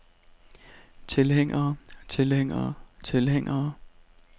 tilhængere tilhængere tilhængere